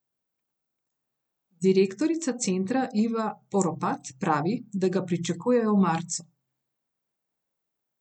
Direktorica centra Iva Poropat pravi, da ga pričakujejo v marcu.